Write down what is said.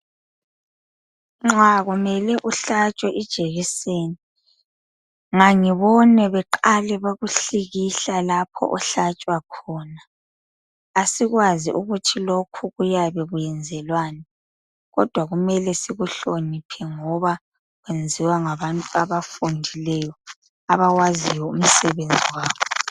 Nxa kumele uhlatshwe ijekiseni. Ngangibone beqale bekuhlikihla lapha ohlatshwa khona. Asikwazi ukuthi lokhu kuyabe kuyenzelwani, kodwa kumele sikuhloniphe, ngoba kwenziwa ngabantu abafundileyo. Abawaziyo umsebenzi wabo.